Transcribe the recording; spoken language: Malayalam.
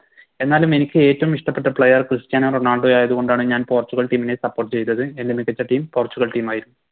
എന്നാലും എനിക്ക് ഏറ്റോം ഇഷ്ട്ടപ്പെട്ട Player ക്രിസ്റ്റ്യാനോ റൊണാൾഡോയായത് കൊണ്ടാണ് ഞാൻ പോർച്ചുഗൽ Team നെ Support ചെയ്തത് എൻറെ മികച്ച Team പോർച്ചുഗൽ Team ആയിരുന്നു